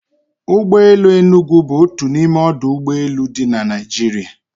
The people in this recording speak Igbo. Ụgbọ elu Enugu bụ otu n'ime ọdụ ụgbọ elu dị na Naịjirịa